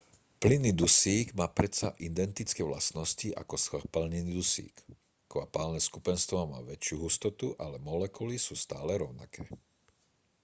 plynný dusík má predsa identické vlastnosti ako skvapalnený dusík kvapalné skupenstvo má väčšiu hustotu ale molekuly sú stále rovnaké